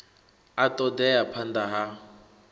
a ṱo ḓea phanḓa ha